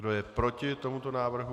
Kdo je proti tomuto návrhu?